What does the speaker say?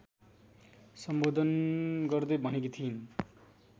सम्बोधन गर्दै भनेकी थिइन्।